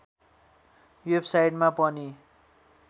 वेबसाइटमा पनि